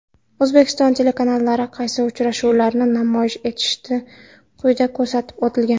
O‘zbekiston telekanallari qaysi uchrashuvlarni namoyish etishi quyida ko‘rsatib o‘tilgan.